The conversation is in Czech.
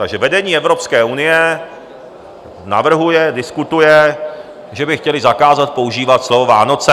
Takže vedení Evropské unie navrhuje, diskutuje, že by chtěli zakázat používat slovo Vánoce.